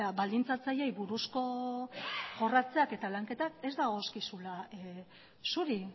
baldintzatzaileei buruzko jorratzeak eta lanketak ez dagozkizula zuri